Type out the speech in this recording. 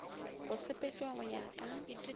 go sepetšwa go ya ka